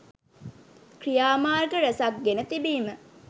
ක්‍රියාමාර්ග රැසක් ගෙන තිබීම